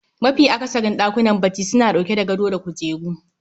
Mafi akasarin ɗakunan bacci suna ɗauke da gado da kujeru